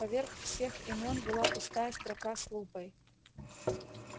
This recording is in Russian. поверх всех имён была пустая строка с лупой